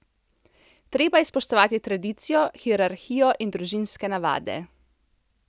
Treba je spoštovati tradicijo, hierarhijo in družinske navade.